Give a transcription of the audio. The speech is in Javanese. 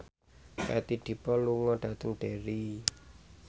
Katie Dippold lunga dhateng Derry